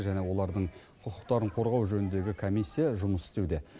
және олардың құқықтарын қорғау жөніндегі комиссия жұмыс істеуде